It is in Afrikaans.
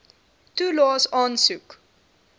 toelaes aansoek